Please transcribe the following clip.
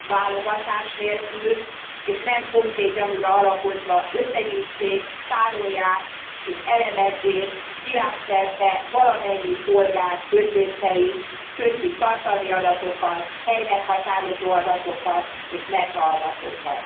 válogatás nélkül, és nem konkrét gyanúra alapozva összegyűjtsék, tárolják és elemezzék világszerte valamennyi polgár közléseit, köztük tartalmi adatokat, helymeghatározó adatokat és metaadatokat.